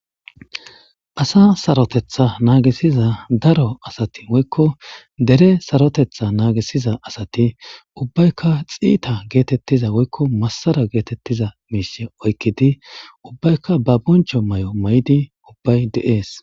asa sarotetha naagisiza daro asati woykko dere sarotetha naagisiza asati ubbaykka xiita geetettiza woykko massara geetettiza miise oykkidi ubbayka ba boncho may7o may7idi ubbay de7ees